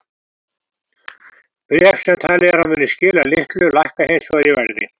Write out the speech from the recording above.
Bréf sem talið er að muni skila litlu lækka hins vegar í verði.